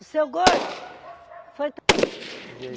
Seu gordo? Foi